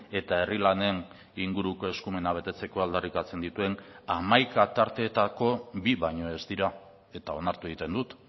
eta herri lanen inguruko eskumena betetzeko aldarrikatzen dituen hamaika tarteetako bi baino ez dira eta onartu egiten dut